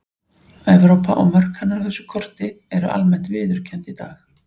Evrópa og mörk hennar á þessu korti eru almennt viðurkennd í dag.